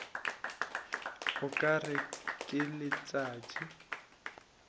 o ka re ke letšatši